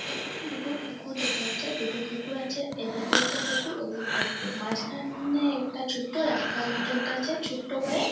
এখানে দুটো পুকুর দেখা যাচ্ছে। দুটো পুকুর আছে এদিকে একটা পুকুর ওদিকে একটা পুকুর। মাঝখান-এ একটা ছোট্ট রাস্তার মতো একটা আছে। ছোট্ট করে।